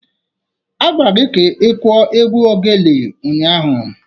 Agwara gi ka ikuo égwù oghene ụnyahụ!